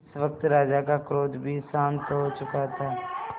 इस वक्त राजा का क्रोध भी शांत हो चुका था